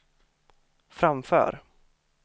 framför